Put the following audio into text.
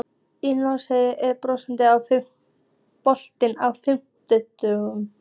Ísold, er bolti á fimmtudaginn?